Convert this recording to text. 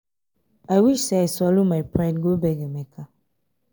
i wish say i swallow my pride go beg emeka